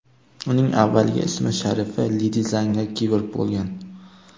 Uning avvalgi ism-sharifi Ledizanga Kiborg bo‘lgan.